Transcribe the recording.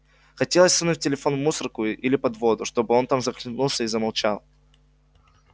хотелось сунуть телефон в мусорку или под воду чтобы он там захлебнулся и замолчал